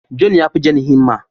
John ya fi Jane himma.